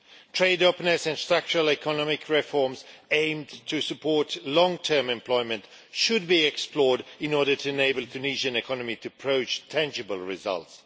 Trade openness and structural economic reforms aimed at supporting long term employment should be explored in order to enable the Tunisian economy to achieve tangible results.